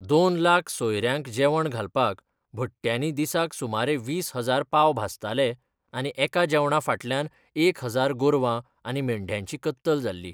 दोन लाख सोयरयांक जेवण घालपाक, भट्ट्यानी दिसाक सुमारे वीस हजार पाव भाजताले आनी एका जेवणां फाटल्यान एक हजार गोरवां आनी मेंढ्यांची कत्तल जाल्ली!